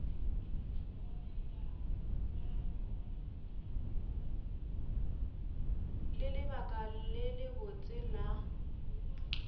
le lebaka le lebotse la